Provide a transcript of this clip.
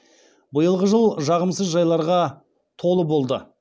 биылғы жыл жағымсыз жайларға толы болды